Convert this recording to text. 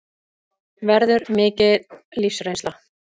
Verður mikil lífsreynsla